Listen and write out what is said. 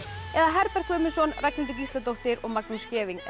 eða Herbert Guðmundsson Ragnhildur Gísladóttir og Magnús Scheving eða